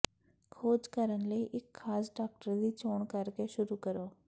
ਖੋਜ ਕਰਨ ਲਈ ਇੱਕ ਖਾਸ ਡਾਕਟਰ ਦੀ ਚੋਣ ਕਰਕੇ ਸ਼ੁਰੂ ਕਰੋ